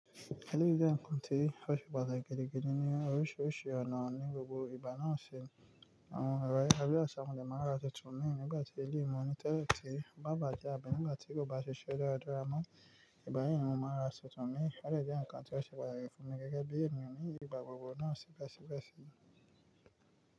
Eléyìí jẹ́ nǹkan tí ó ṣe pàtàkì gidi gan ní oríṣiríṣi ọ̀nà ní gbogbo ìgbà náà ṣe. Àwọn ọ̀rọ̀ Yorùbá bí i aṣọ amúlẹ̀ máa ń ra titun nígbà tí ilé ìwọ́n ní tẹ́lẹ̀ ti bá bàjẹ́ àbí nígbà tí kò bá ṣiṣẹ́ dáradára mọ́. Igbami mọ máa ń ra titun mí. Ó dẹ̀ jẹ́ nǹkan tí ó ṣe pàtàkì fún mi gẹ́gẹ́ bí ènìyàn ní ìgbà gbogbo náà síbẹ̀síbẹ̀sí.